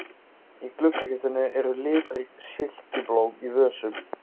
Í gluggakistunni eru litrík silkiblóm í vösum.